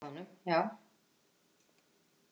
Það er sýning á honum, já.